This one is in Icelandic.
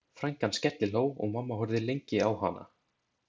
Frænkan skellihló og mamma horfði lengi á hana.